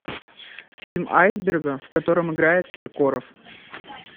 фильм айсберга в котором играет киркоров